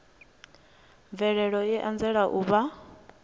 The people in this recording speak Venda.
mvelelo i anzela u vha